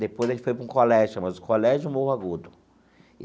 Depois a gente foi para um colégio, chama-se Colégio Morro Agudo.